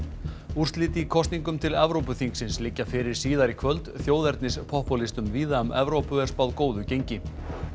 úrslit í kosningum til Evrópuþingsins liggja fyrir síðar í kvöld víða um Evrópu er spáð góðu gengi